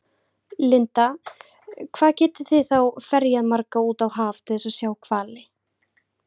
Linda: Hvað geti þið þá ferjað marga út á haf til þess að sjá hvali?